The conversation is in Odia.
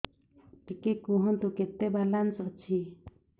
ଟିକେ କୁହନ୍ତୁ କେତେ ବାଲାନ୍ସ ଅଛି